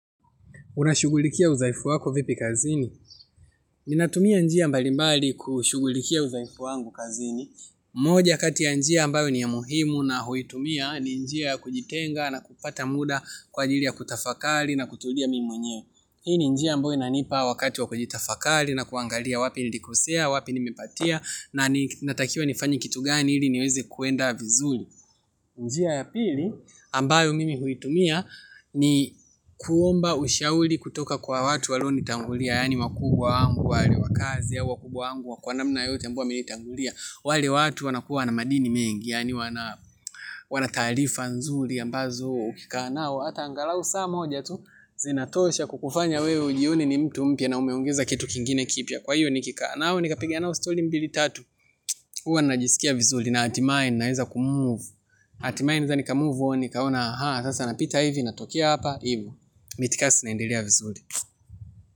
Unashugulikia uzaifu wako vipi kazini? Ninatumia njia mbalimbali kushughulikia udhaifu wangu kazini. Mmoja kati ya njia ambayo ni ya muhimu na huitumia ni njia kujitenga na kupata muda kwa jili ya kutafakari na kutulia mimi mwenyewe. Hii ni njia ambayo inanipa wakati wa kujitafakari na kuangalia wapi nilikosea, wapi nimepatia na natakiwa nifanye kitu gani ili niweze kwenda vizuri. Njia ya pili ambayo mimi huitumia ni kuomba ushauri kutoka kwa watu walionitangulia. Yani wakubwa wangu wale wakazi ya wakubwa wangu kwa namna yoyote ambayo wamenitangulia. Wale watu wanakuwa na madini mengi yani wana taarifa nzuri ambazo ukikaa nao hata angalau saa moja tu zinatosha kukufanya wewe ujione ni mtu mpya na umeongeza kitu kingine kipya. Kwa hiyo nikikaa nao nikapiga nao stori mbili tatu huwa najisikia vizuli na hatimae ninaweza kumove. Hatimae ninaweza nikamove on nikaona anhaa sasa napita hivi natokea hapa hivo. Mitikasi naendelea vizuri.